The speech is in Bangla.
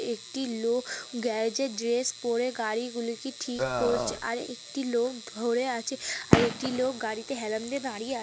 একটি লোক গ্যারেজে ড্রেস পরে গাড়ি গুলি কি ঠিক করছে আরে একটি লোক ধরে আছে আরেকটি লোক গাড়িতে হেলান দিয়ে দাঁড়িয়ে আছ --